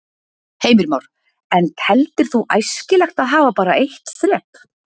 Heimir Már: En teldir þú æskilegt að hafa bara eitt þrep?